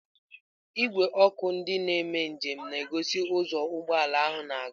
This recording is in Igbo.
Igwe ọkụ nke ndị na-eme njem na-egosi ụzọ ụgbọ ala ahụ na-aga.